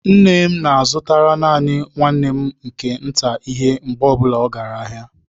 Nne m na-azụtara naanị nwanne m nke nta ihe mgbe ọbụla ọ gara ahịa.